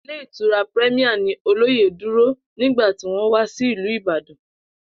Ilé Ìtura Premier ni olóyè dúró nígbà tí wó̩n wá sí ìlú Ìbàdàn